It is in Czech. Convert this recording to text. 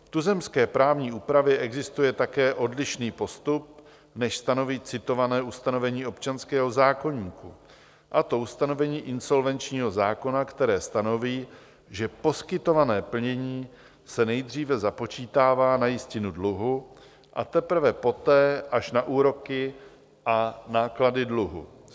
V tuzemské právní úpravě existuje také odlišný postup, než stanoví citované ustanovení občanského zákoníku, a to ustanovení insolvenčního zákona, které stanoví, že poskytované plnění se nejdříve započítává na jistinu dluhu a teprve poté až na úroky a náklady dluhu.